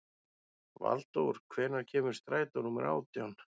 Valdór, hvenær kemur strætó númer átján?